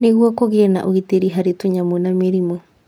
Nĩguo kũgĩe na ũgitĩri harĩ tũnyamũ na mĩrimũ.